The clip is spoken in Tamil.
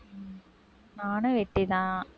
நானும் வெட்டிதான்.